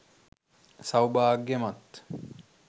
සෞභාග්‍යමත්